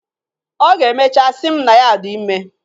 Ọ ga-emechaa sị m na ya dị ime.